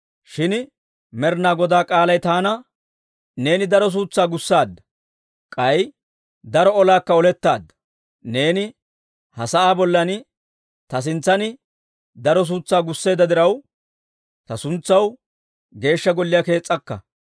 Shin Med'inaa Godaa k'aalay taana, ‹Neeni daro suutsaa gussaadda; k'ay daro olaakka olettaadda. Neeni ha sa'aa bollan ta sintsan daro suutsaa gusseedda diraw, ta suntsaw Geeshsha Golliyaa kees's'akka.